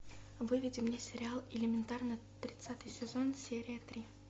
выведи мне сериал элементарно тридцатый сезон серия три